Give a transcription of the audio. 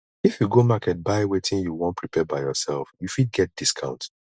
if you go market buy wetin you won prepare by yourself you fit get discount